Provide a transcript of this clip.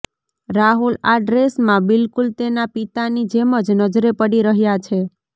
રાહુલ આ ડ્રેસમાં બિલકુલ તેના પિતાની જેમ જ નજરે પડી રહ્યા છે